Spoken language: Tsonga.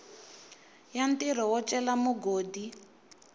ya ntirho wo cela mugodi